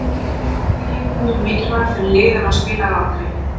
Hvernig getur hann verið mikilvægur fyrir lið ef hann spilar aldrei?